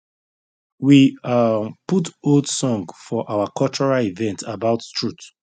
we um put old song for our cultural event about truth